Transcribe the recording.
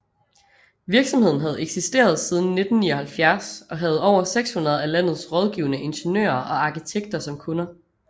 Virksomheden havde eksisteret siden 1979 og havde over 600 af landets rådgivende ingeniører og arkitekter som kunder